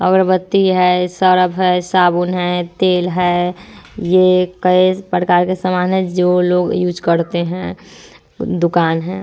अगरबत्ती है सर्फ है साबुन है तेल है ये कई प्रकार के सामान है जो लोग यूज़ करते है। दुकान है।